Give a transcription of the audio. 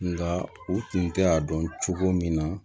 Nga u tun tɛ a dɔn cogo min na